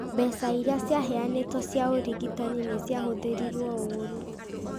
Mbeca iria ciaheanĩtwo cia ũrigitani nĩ cihũthĩrĩtũo ũũru ,